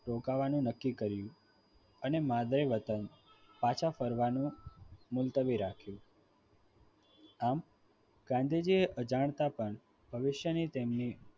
રોકાવાનું નક્કી કર્યું અને માદરે વતન પાછા ફરવાનું મુલતવી રાખ્યું આમ ગાંધીજી અજાણતા પણ ભવિષ્યની તેમની